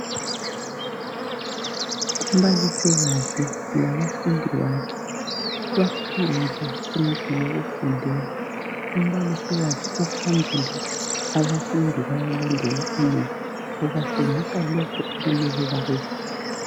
Umbalisikazi labafundi bakhe baphandle kwendlu yokufundela umbalisikazi uphambili abafundi bayalandela emuva ubatshengisa lokhu okumele bakubone.